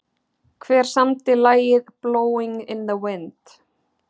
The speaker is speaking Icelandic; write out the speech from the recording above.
Hver samdi lagið Blowing in the wind?